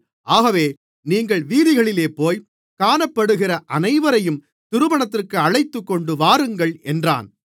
ஆகவே நீங்கள் வீதிகளிலேபோய் காணப்படுகிற அனைவரையும் திருமணத்திற்கு அழைத்துக்கொண்டு வாருங்கள் என்றான்